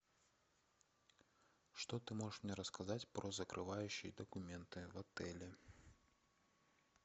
что ты можешь мне рассказать про закрывающие документы в отеле